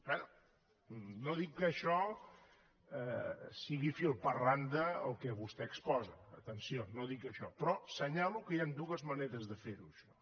bé no dic que això sigui fil per randa el que vostè exposa atenció no dic això però assenyalo que hi han dues maneres de ferho això